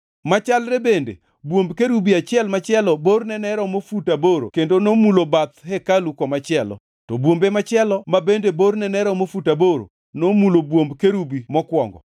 Machalre bende, bwomb kerubi achiel machielo borne ne romo fut aboro kendo nomulo bath hekalu komachielo, to bwombe machielo ma bende borne ne romo fut aboro nomulo bwomb kerubi mokwongo.